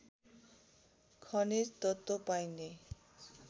खनिज तत्त्व पाइने